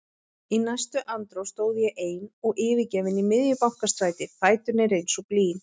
Í næstu andrá stóð ég ein og yfirgefin í miðju Bankastræti, fæturnir eins og blý.